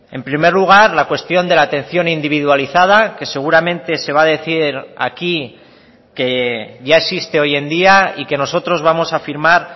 en primer lugar la cuestión de la atención individualizada que seguramente se va a decir aquí que ya existe hoy en día y que nosotros vamos a firmar